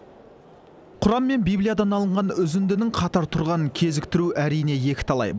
құран мен библиядан алынған үзіндінің қатар тұрғанын кезіктіру әрине екіталай